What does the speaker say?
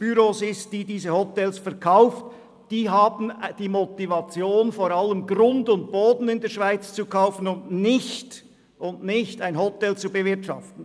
Ausländer haben vor allem die Motivation, Grund und Boden in der Schweiz zu kaufen, und nicht ein Hotel zu bewirtschaften.